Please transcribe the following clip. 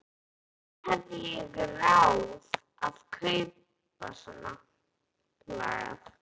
Hvernig hafði ég ráð á að kaupa svonalagað?